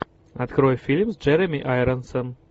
открой фильм с джереми айронсом